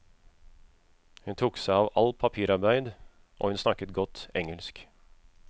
Hun tok seg av alt papirarbeid, og hun snakket godt engelsk.